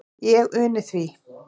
Ég uni því.